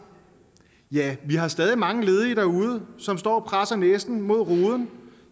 ja vi har stadig mange ledige derude som står og presser næsen mod ruden